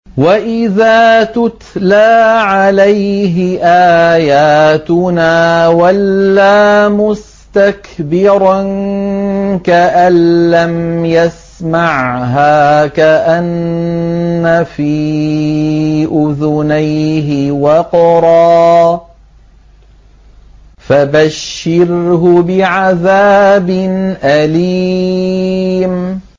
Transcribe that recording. وَإِذَا تُتْلَىٰ عَلَيْهِ آيَاتُنَا وَلَّىٰ مُسْتَكْبِرًا كَأَن لَّمْ يَسْمَعْهَا كَأَنَّ فِي أُذُنَيْهِ وَقْرًا ۖ فَبَشِّرْهُ بِعَذَابٍ أَلِيمٍ